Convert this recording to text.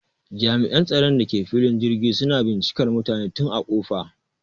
Jami'an tsaron da ke filin jirgin suna bincikar mutane tun a ƙofa